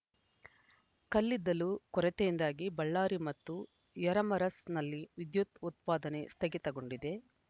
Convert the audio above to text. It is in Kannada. ಕಲ್ಲಿದ್ದಲು ಕೊರತೆಯಿಂದಾಗಿ ಬಳ್ಳಾರಿ ಮತ್ತು ಯರಮರಸ್‌ನಲ್ಲಿ ವಿದ್ಯುತ್‌ ಉತ್ಪಾದನೆ ಸ್ಥಗಿತಗೊಂಡಿದೆ